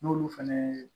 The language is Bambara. N'olu fɛnɛ ye